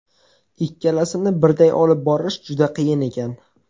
Ikkalasini birday olib borish juda qiyin ekan.